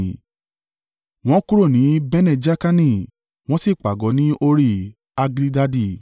Wọ́n kúrò ní Bene-Jaakani wọ́n sì pàgọ́ ní Hori-Haggidgadi.